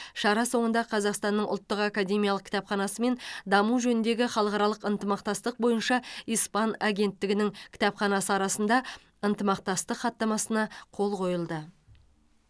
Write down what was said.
шара соңында қазақстанның ұлттық академиялық кітапханасы мен даму жөніндегі халықаралық ынтымақтастық бойынша испан агенттігінің кітапханасы арасында ынтымақтастық хаттамасына қол қойылды